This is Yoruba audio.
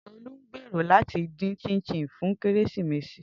Tolu n gbero lati din chin chin fun Keresimesi.